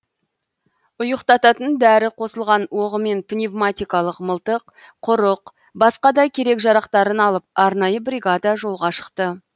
ұйықтатын дәрі қосылған оғымен пневаматикалық мылтық құрық басқа да керек жарақтарын алып арнайы бригада жолға шықты